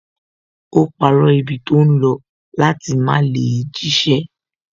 Ó parọ́ ibi tó ń lọ láti má lè jíṣẹ́